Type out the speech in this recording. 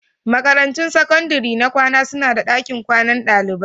Makarantun sakandare na kwana suna da dakin kwanan dalibai.